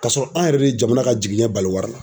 K'a sɔrɔ an yɛrɛ de jamana ka jiginɛ bali wari la.